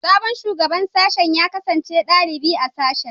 Sabon Shugaban Sashen ya kasance dalibi a sashen